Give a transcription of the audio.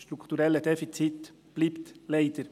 Das strukturelle Defizit bleibt leider.